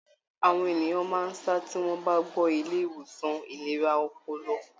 Àwọn ènìyàn máa sá tí wọ́n bá gbọ́ Ilé ìwòsàn ìlera ọpọlọpọ.